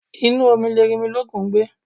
Inú omi ni Erinmilókun ngbé